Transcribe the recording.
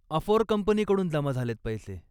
अफोर कंपनीकडून जमा झालेत पैसे.